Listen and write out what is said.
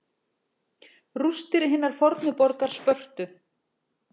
Rústir hinnar fornu borgar Spörtu.